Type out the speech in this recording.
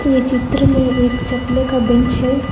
इस चित्र में एक चकले का बेंच है।